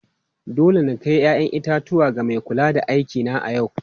Dole na kai 'ya'yan itatuwa ga mai kula da aikina a yau.